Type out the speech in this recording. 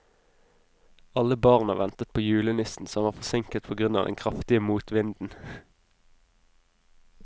Alle barna ventet på julenissen, som var forsinket på grunn av den kraftige motvinden.